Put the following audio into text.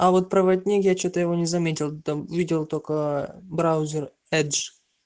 а вот проводник я что-то его не заметил там видел только браузер эдж